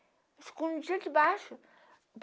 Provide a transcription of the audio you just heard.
Eu escondia debaixo.